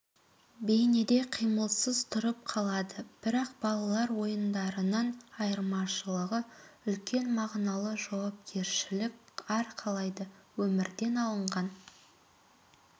бейнеде қимылсыз тұрып қалады бірақ балалар ойындарынан айырмашылығы үлкен мағыналы жауапкершілік арқалайды өмірден алынған